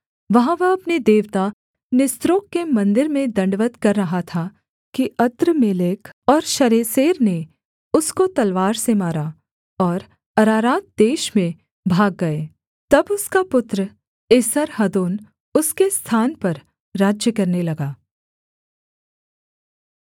वहाँ वह अपने देवता निस्रोक के मन्दिर में दण्डवत् कर रहा था कि अद्रम्मेलेक और शरेसेर ने उसको तलवार से मारा और अरारात देश में भाग गए तब उसका पुत्र एसर्हद्दोन उसके स्थान पर राज्य करने लगा